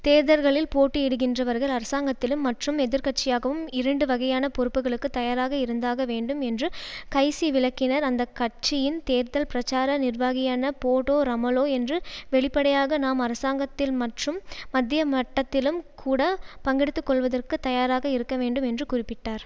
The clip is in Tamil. தேர்தல்களில் போட்டியிடுகின்றவர்கள் அரசாங்கத்திலும் மற்றும் எதிர்கட்சியாகவும் இரண்டுவகையான பொறுப்புகளுக்கு தயாராக இருந்தாக வேண்டும் என்று கைசி விளக்கினார் அந்த கட்சியின் தேர்தல் பிரச்சார நிர்வாகியான போடோ ரமலோ என்று வெளிப்படையாக நாம் அரசாங்கத்தில்மற்றும் மத்திய மட்டத்திலும் கூட பங்கெடுத்துக்கொள்வதற்கு தயாராக இருக்கவேண்டும் என்று குறிப்பிட்டார்